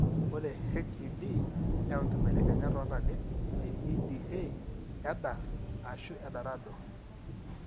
Ore HED neyau inkibelekenyat oontalip eEDA, EDAR, ashu EDARADD.